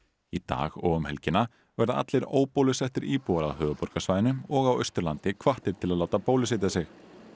í dag og um helgina verða allir íbúar á höfuðborgarsvæðinu og Austurlandi hvattir til að láta bólusetja sig